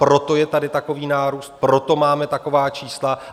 Proto je tady takový nárůst, proto máme taková čísla.